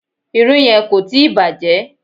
Irú yẹn kò tíì bàjẹ́.